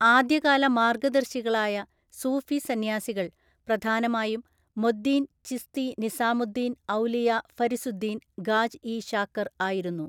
ആദ്യകാല മാർഗദർശി കളായ സൂഫി സന്യാസികൾ പ്രധാനമായും മൊദ്ദീൻ ചിസ്തി നിസാമു ദ്ദീൻ ഔലിയ ഫരിസുദ്ദീൻ ഗാജ് ഇ ശാകർ ആയിരുന്നു.